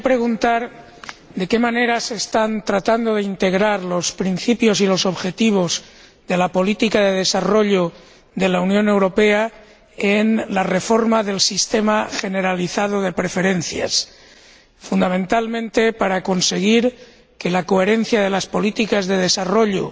Quería preguntar de qué manera se están tratando de integrar los principios y los objetivos de la política de desarrollo de la Unión Europea en la reforma del sistema generalizado de preferencias, fundamentalmente para conseguir que la coherencia de las políticas de desarrollo,